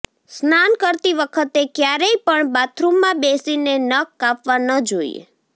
સ્નાન કરતી વખતે ક્યારેય પણ બાથરૂમમાં બેસીને નખ કાપવા ન જોઈએ